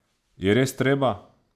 Je res treba?